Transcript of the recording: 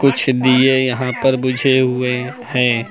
कुछ दिए यहां पर बुझे हुए हैं।